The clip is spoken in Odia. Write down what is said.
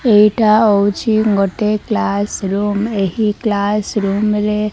ଏଇଟା ହୋଉଚି ଗୋଟେ କ୍ଲାସ୍ ରୁମ୍ ଏହି କ୍ଲାସ୍ ରୁମ୍ ରେ।